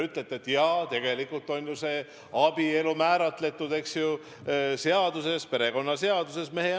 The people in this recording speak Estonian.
Ütlesite, et tegelikult on ju abielu mehe ja naise vahel määratletud perekonnaseaduses.